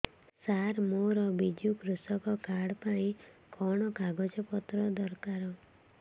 ସାର ମୋର ବିଜୁ କୃଷକ କାର୍ଡ ପାଇଁ କଣ କାଗଜ ପତ୍ର ଦରକାର